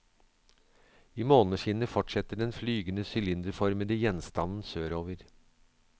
I måneskinnet fortsetter den flygende sylinderformete gjenstanden sørover.